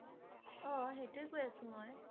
অ' সেইটোৱে কৈ আছে মই